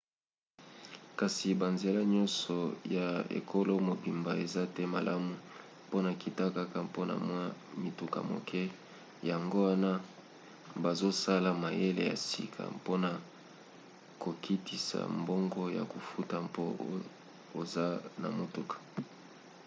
kasi banzela nyonso ya ekolo mobimba eza te malamu mpona nkita kaka mpona mwa mituka moke yango wana bazosala mayele ya sika mpona kokitisa mbongo ya kofuta mpo oza na motuka